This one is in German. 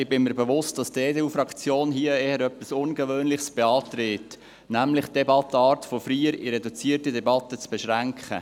Ich bin mir bewusst, dass die EDU-Fraktion hier etwas eher Ungewöhnliches beantragt, nämlich, die Debattenart von einer freien auf eine reduzierte Debatte zu beschränken.